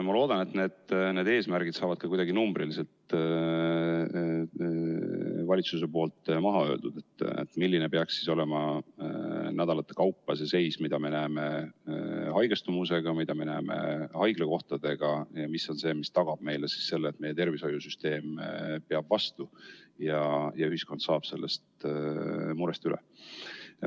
Ma loodan, et need eesmärgid saavad valitsuse poolt ka kuidagi numbriliselt maha öeldud, milline peaks olema nädalate kaupa see seis, mida me näeme haigestumusega, mida me näeme haiglakohtadega, mis on see, mis tagab meile selle, et meie tervishoiusüsteem peab vastu ja ühiskond saab sellest murest üle.